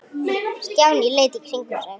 Stjáni leit í kringum sig.